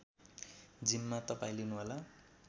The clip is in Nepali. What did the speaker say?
जिम्मा तपाईँ लिनुहोला